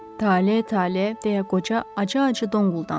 Tale, tale, deyə qoca acı-acı donquldandı.